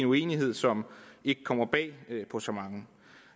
uenighed som ikke kommer bag på så mange